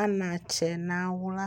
anatsɛ nawla